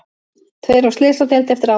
Tveir á slysadeild eftir árekstur